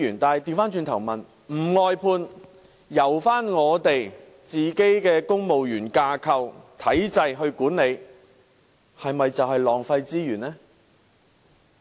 倒過來說，若不外判，而是在公務員架構內管理有關服務的話，是否就會浪費資源呢？